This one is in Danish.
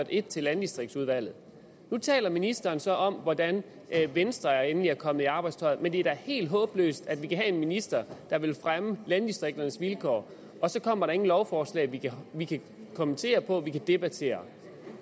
et til landdistriktsudvalget nu taler ministeren så om hvordan venstre endelig er kommet i arbejdstøjet men det er da helt håbløst at vi kan have en minister der vil fremme landdistrikternes vilkår og så kommer der ingen lovforslag vi vi kan kommentere og debattere